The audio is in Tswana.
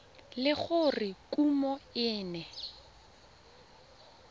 le gore kumo e ne